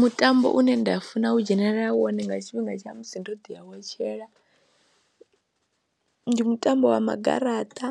Mutambo une nda funa u dzhenelela wone nga tshifhinga tsha musi ndo ḓi a wetshela ndi mutambo wa magaraṱa,